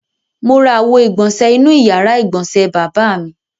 Mo ra àwo-ìgbọ̀nṣẹ̀ inú ìyàrá-ìgbọ̀nsẹ̀ bàbá mi.